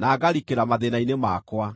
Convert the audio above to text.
na ngarikĩra mathĩĩna-inĩ makwa.